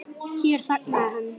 Hér þagnaði hann.